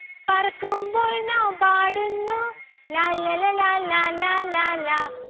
പറക്കുമ്പോൾ നാം പാടുന്നു ലാല്ലല ലാലാ ലാലാ ലാ